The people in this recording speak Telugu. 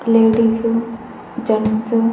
ladies gents --